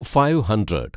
five hundred